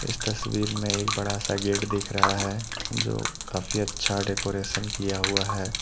इस तस्वीर मे एक बड़ा सा गेट दिख रहा है जो काफी अच्छा डेकोरेशन किया हुआ है।